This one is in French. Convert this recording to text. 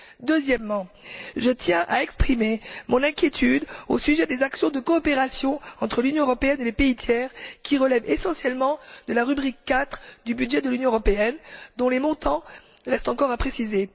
Deuxièmement, je tiens à exprimer mon inquiétude au sujet des actions de coopération entre l'Union européenne et les pays tiers qui relèvent essentiellement de la rubrique IV du budget de l'Union européenne, dont les montants restent encore à préciser.